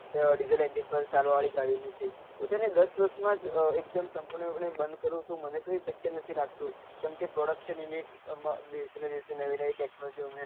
તો diesel ચાલવા વાળી ગાડી ની છે કે તેને દસ દસ માં સપૂર્ણ પણે બન કરી તો મને તો એ શક્ય નથી લાગતું કેમકે production unit નવી નવી technology